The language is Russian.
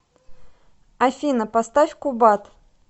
афина поставь кубат